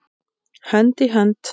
Hönd í hönd.